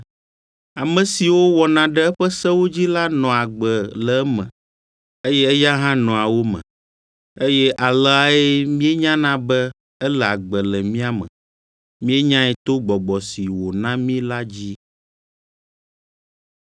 Ame siwo wɔna ɖe eƒe sewo dzi la nɔa agbe le eme, eye eya hã nɔa wo me. Eye aleae míenyana be ele agbe le mía me: Míenyae to Gbɔgbɔ si wòna mí la dzi.